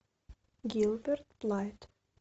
гилберт блайт